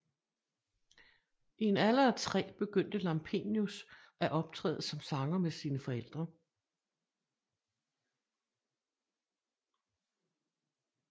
I en alder af tre begyndte Lampenius at optræde som sanger med sine forældre